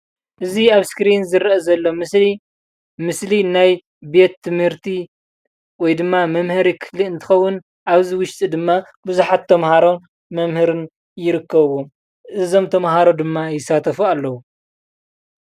እዚ ኣብ ስክሪን ዝረአ ዘሎ ምስሊ ምስሊ ናይ ቤት ትምህርቲ ወይድማ መምሀሪ ክፍሊ እንትከዉን ኣብዚ ዉሽጢ ድማ ቡዝሓት ተምሃሮን መምህርን ይርከብዎም፤ እዞም ተምሃሮ ድማ ይሳተፉ ኣለዉ።